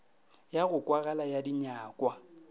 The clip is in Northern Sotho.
ya go kwagala ya dinyakwa